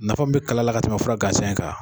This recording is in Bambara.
Nafa mun be kala la ka tɛmɛ fura gansan in kan.